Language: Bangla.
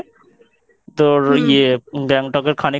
তোর ইয়ে গ্যাংটকের